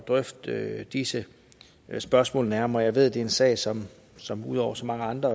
drøfte disse spørgsmål nærmere jeg ved at det er en sag som som ud over så mange andre